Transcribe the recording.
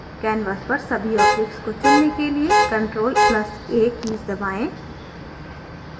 canvas पर सभी objects को चुनने के लिए ctrl + a कीज़ दबाएँ